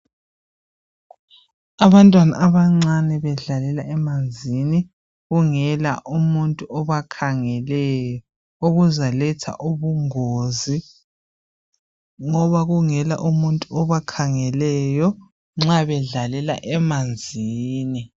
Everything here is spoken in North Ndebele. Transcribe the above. Abantwana abancane bedlalela emanzini kungela umuntu obakhangeleyo okuzaletha ubungozi ngoba kungela obakhangeleyo nxa bedlalela emanzini